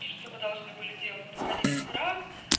ещё что мы должны были делать это ходить в храм